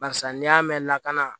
Barisa n'i y'a mɛn lakana